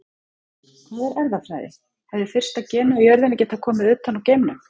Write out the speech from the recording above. Hvað er erfðafræði Hefði fyrsta genið á jörðinni getað komið utan úr geimnum?